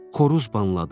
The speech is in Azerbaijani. Xoruz banladı.